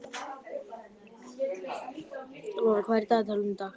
Lara, hvað er í dagatalinu í dag?